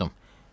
Soruşdum: